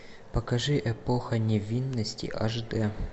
покажи эпоха невинности аш дэ